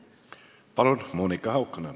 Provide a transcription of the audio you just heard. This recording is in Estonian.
Palun, Monika Haukanõmm!